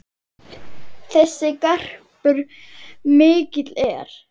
Þessi garpur mikill er.